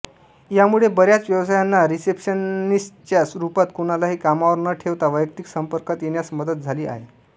यामुळे बऱ्याच व्यवसायांना रिसेप्शनिस्टच्या रूपात कोणालाही कामावर न ठेवता वैयक्तिक संपर्कात येण्यास मदत झाली आहे